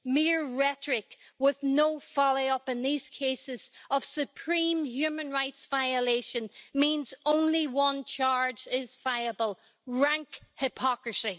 Mere rhetoric with no follow-up in these cases of supreme human rights violation means only one charge is viable rank hypocrisy.